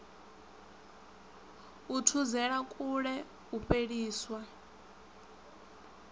u thudzela kule u fheliswa